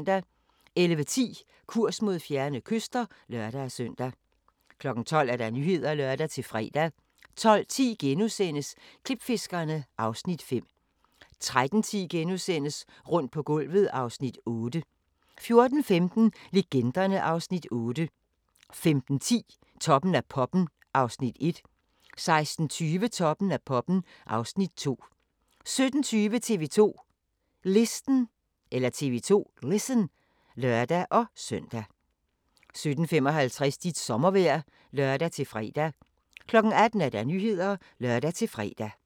11:10: Kurs mod fjerne kyster (lør-søn) 12:00: Nyhederne (lør-fre) 12:10: Klipfiskerne (Afs. 5)* 13:10: Rundt på gulvet (Afs. 8)* 14:15: Legenderne (Afs. 8) 15:10: Toppen af poppen (Afs. 1) 16:20: Toppen af poppen (Afs. 2) 17:20: TV 2 Listen (lør-søn) 17:55: Dit sommervejr (lør-fre) 18:00: Nyhederne (lør-fre)